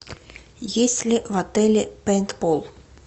есть ли в отеле пейнтбол